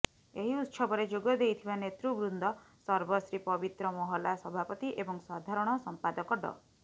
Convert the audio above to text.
ଏହି ଉତ୍ସବରେ ଯୋଗ ଦେଇଥିବା ନେତୃବୃନ୍ଦ ସର୍ବଶ୍ରୀ ପବିତ୍ର ମହଲା ସଭାପତି ଏବଂ ସାଧାରଣ ସମ୍ପାଦକ ଡ